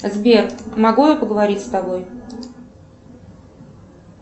сбер могу я поговорить с тобой